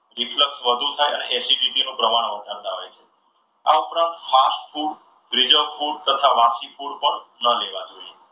reflect વધુ થાય અને acidity નું પ્રમાણ વધારતા હોય છે. આ ઉપરાંત fast food preserved food તથા વાસી food ન લેવા જોઈએ.